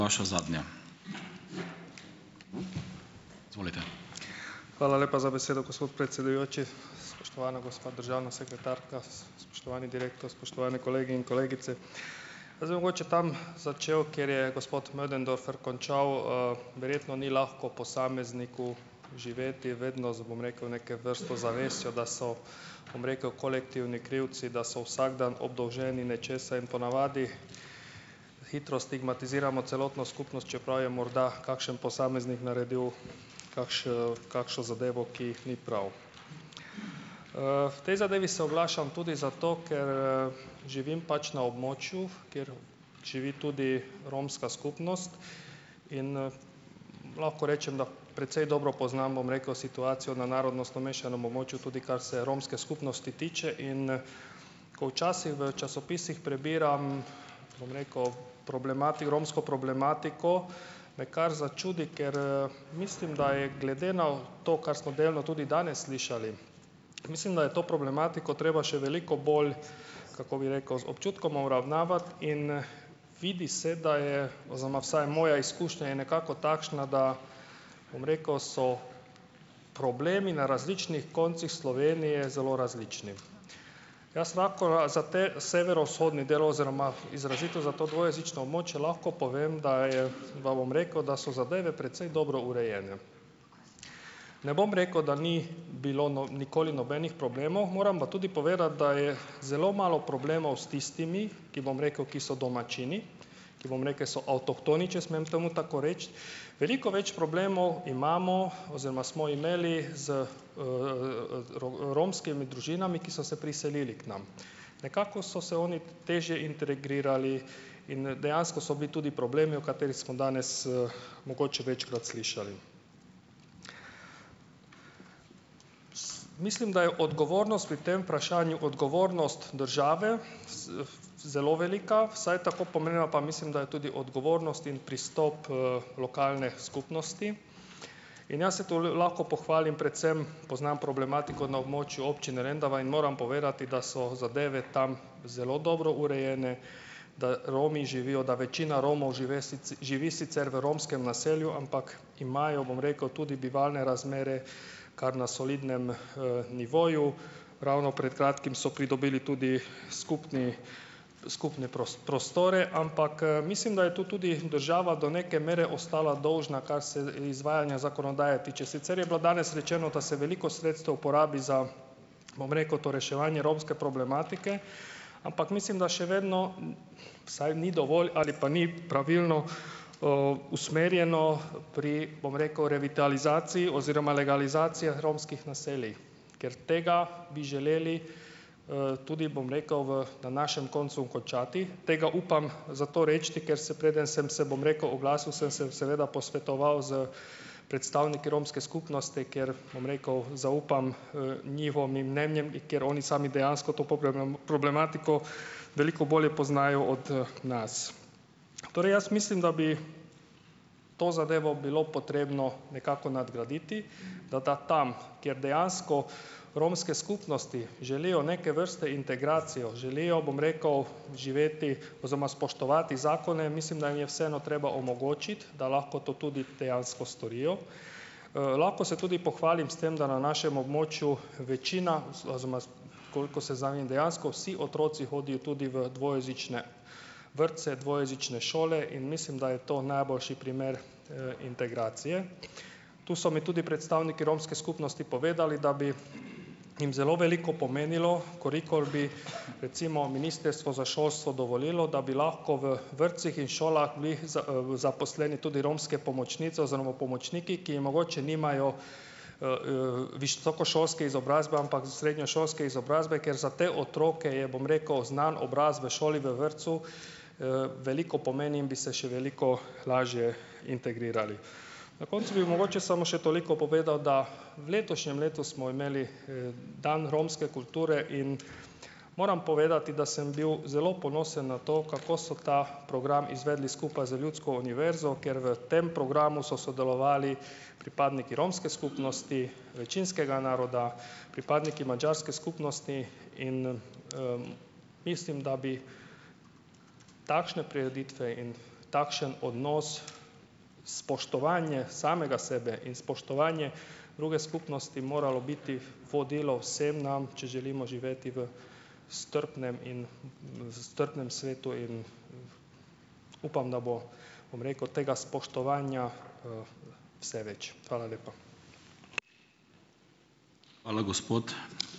Hvala lepa za besedo, gospod predsedujoči. Spoštovana gospa državna sekretarka, spoštovani direktor, spoštovani kolegi in kolegice! Jaz bi mogoče tam začel, kjer je gospod Möderndorfer končal. Verjetno ni lahko posamezniku živeti vedno, z, bom rekel, neke vrsto zavestjo, da so, bom rekel, kolektivni krivci, da so vsak dan obdolženi nečesa in po navadi hitro stigmatiziramo celotno skupnost, čeprav je morda kakšen posameznik naredil kakšno zadevo, ki ni prav. V tej zadevi se oglašam tudi zato, ker, živim pač na območju, kjer živi tudi romska skupnost in, lahko rečem, da precej dobro poznam, bom rekel, situacijo na narodnostno mešanem območju, tudi kar se romske skupnosti tiče in, ko včasih v časopisih prebiram, bom rekel, romsko problematiko, me kar začudi, ker, mislim, da je glede na to, kar smo delno tudi danes slišali, mislim, da je to problematiko treba še veliko bolj, kako bi rekel - z občutkom obravnavati in, vidi se, da je, oziroma vsaj moja izkušnja je nekako takšna, da, bom rekel, so problemi na različnih koncih Slovenije zelo različni. Jaz lahko a za ta severovzhodni del oziroma izrazito za to dvojezično območje lahko povem, da je bom rekel, da so zadeve precej dobro urejene. Ne bom rekel, da ni bilo nikoli nobenih problemov, moram pa tudi povedati, da je zelo malo problemov s tistimi, ki, bom rekel, ki so domačini, ki, bom rekel, so avtohtoni, če smem temu tako reči. Veliko več problemov imamo oziroma smo imeli z, romskimi družinami, ki so se priselile k nam. Nekako so se oni težje integrirali in, dejansko so bili tudi problemi, v katerih smo danes, mogoče večkrat slišali. Jaz mislim, da je odgovornost pri tem vprašanju odgovornost države s, zelo velika, vsaj tako pomembna, pa mislim, da je tudi odgovornost in pristop, lokalne skupnosti in jaz se to lahko pohvalim predvsem - poznam problematiko na območju občine Lendava in moram povedati, da so zadeve tam zelo dobro urejene, da Romi živijo, da večina Romov žive živi sicer v romskem naselju, ampak imajo, bom rekel, tudi bivalne razmere kar na solidnem, nivoju. Ravno pred kratkim so pridobili tudi skupni skupne prostore, ampak, mislim, da je to tudi država do neke mere ostala dolžna, kar se, izvajanja zakonodaje tiče. Sicer je bilo danes rečeno, da se veliko sredstev porabi za, bom rekel, to reševanje romske problematike, ampak mislim, da še vedno, vsaj ni dovolj ali pa ni pravilno, usmerjeno pri, bom rekel, revitalizaciji oziroma legalizacijah romskih naselij, ker tega bi želeli, tudi, bom rekel, v našem koncu končati. Tega upam zato reči, ker se, preden sem se, bom rekel, oglasil, sem se seveda posvetoval s predstavniki romske skupnosti, ker, bom rekel, zaupam njihovim mnenjem, ker oni sami dejansko to problematiko veliko bolje poznajo od, nas. Torej jaz mislim, da bi to zadevo bilo potrebno nekako nadgraditi, da ta tam, kjer dejansko romske skupnosti želijo neke vrste integracijo, želijo, bom rekel, živeti oziroma spoštovati zakone in mislim, da jim je vseeno treba omogočiti, da lahko to tudi dejansko storijo. Lahko se tudi pohvalim s tem, da na našem območju večina koliko seznanjen, dejansko vsi otroci hodijo tudi v dvojezične vrtce, dvojezične šole in mislim, da je to najboljši primer, integracije. Tu so mi tudi predstavniki romske skupnosti povedali, da bi jim zelo veliko pomenilo, v kolikor bi recimo Ministerstvo za šolstvo dovolilo, da bi lahko v vrtcih in šolah bili zaposleni tudi romske pomočnice oziroma pomočniki, ki mogoče nimajo, visokošolske izobrazbe, ampak s srednješolsko izobrazbo, ker za te otroke je, bom rekel, znan obraz v šoli, v vrtcu, veliko pomeni in bi se še veliko lažje integrirali. Na koncu bi mogoče samo še toliko povedal, da v letošnjem letu smo imeli, dan romske kulture in moram povedati, da sem bil zelo ponosen na to, kako so ta program izvedli skupaj z Ljudsko univerzo, ker v tem programu so sodelovali pripadniki romske skupnosti, večinskega naroda, pripadniki madžarske skupnosti in, mislim, da bi takšne prireditve in takšen odnos, spoštovanje samega sebe in spoštovanje druge skupnosti, moralo biti vodilo vsem nam, če želimo živeti v strpnem in, s strpnem svetu in upam, da bo, bom rekel, tega spoštovanja, vse več. Hvala lepa.